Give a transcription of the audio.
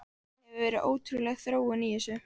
Það hefur verið ótrúleg þróun í þessu.